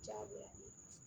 Jagoya